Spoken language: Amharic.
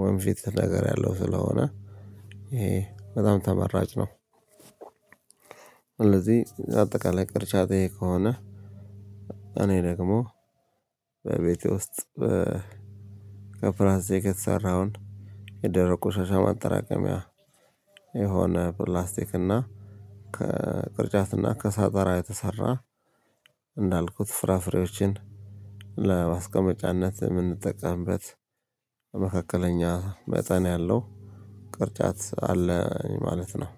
ወወንፊት ነገር ያለው ስለሆነ ይሄ በጣም ተመራጭ ነው። ስለዚህ አጠቃላይ ቅርጫት ይሄ ከሆነ እኔ ደግሞ በቤቴ ውስጥ ከፍራዜ የሰራውን የደረቁ ቆሻሻ ማጠራቀሚያ የሆነ ከፕላስቲክ እና ከቅርጫት እና ከሳጠራ የተሰራ እንዳልኩት ፍራፍሬዎችን ለማስቀመጫነት የምንጠቀምበት በመካከለኛ መጠን ያለው ቅርጫት አለኝ። ማለት ነው